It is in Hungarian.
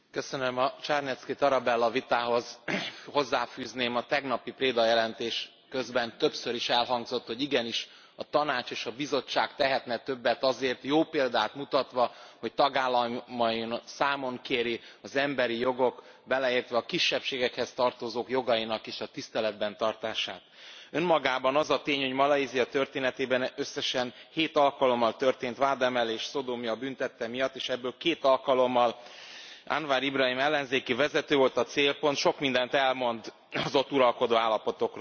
A Czarnecki Tarabella vitához hozzáfűzném, hogy a tegnapi Preda jelentés közben többször is elhangzott, hogy igenis a Tanács és a Bizottság tehetne többet azért, jó példát mutatva, hogy tagállamain számon kéri az emberi jogok, beleértve a kisebbségekhez tartozók jogainak is a tiszteletben tartását. Önmagában az a tény, hogy Malajzia történetében összesen 7 alkalommal történt vádemelés szodómia bűntette miatt, és ebből két alkalommal Anwar Ibrahim ellenzéki vezető volt a célpont sok mindent elmond az ott uralkodó állapotokról.